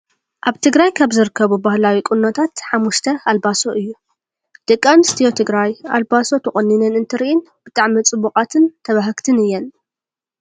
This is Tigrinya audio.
ኣብ ትግራይ ካብ ዝርከቡ ባህላዊ ቁኖታት ሓሙሽተ ኣልባሶ እዩ ። ደቂ ኣንስትዮ ትግራይ ኣልባሶ ተቆኒነን እንትርኤን ብጣዕሚ ፅቡቃትን ተባህግትን እየን ።